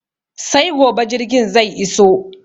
Sai gobe jirgin zai iso